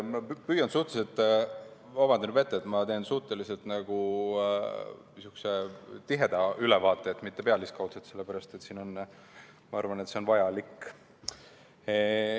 Palun juba ette vabandust, et ma teen suhteliselt tiheda ülevaate, mitte pealiskaudse, sellepärast et ma arvan, et see on vajalik.